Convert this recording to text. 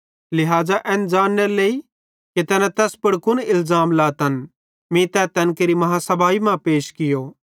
लिहाज़ा एन ज़ान्नेरी केरनेरे लेइ कि तैना तैस पुड़ कुन इलज़ाम लातन मीं तै तैन केरि बेड्डी आदालती मां पैश कियो